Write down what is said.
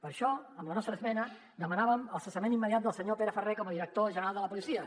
per això amb la nostra esmena demanàvem el cessament immediat del senyor pere ferrer com a director general de la policia